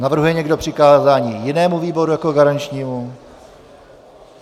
Navrhuje někdo přikázání jinému výboru jako garančnímu?